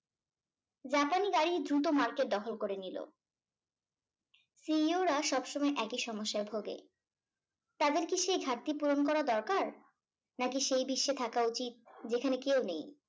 জাপানি গাড়ি দ্রুত market দখল করে নিলো CEO রা সবসময় একই সমস্যায় ভোগে তাদের কি সেই ঘাটতি পূরণ করা দরকার নাকি সেই বিশ্বে থাকা উচিত যেখানে কেউ নেই